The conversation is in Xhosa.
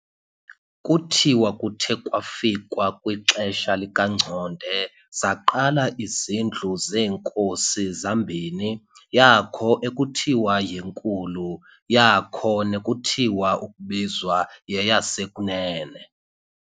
Kuthiwa kuthe kwakufikwa kwixesha likaNgconde, zaqala izindlu zeenkosi zambini, yakho ekuthiwa y"eNkulu", yakho nekuthiwa ukubizwa yeyas"eKunene".